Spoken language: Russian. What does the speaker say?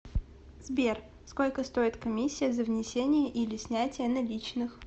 сбер сколько стоит комиссия за внесение или снятие наличных